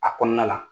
A kɔnɔna la